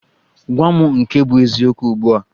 Gwa mụ nke bụ eziokwu ugbua!